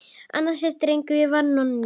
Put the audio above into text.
Annar þessara drengja var Nonni.